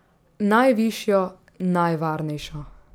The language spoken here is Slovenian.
Najvišjo, najvarnejšo.